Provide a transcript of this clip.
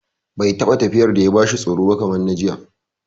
Bai taɓa tafiyar da ya bashi tsoro ba kamar na jiya